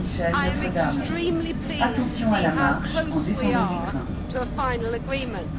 I am extremely pleased to see how close we are to a final agreement.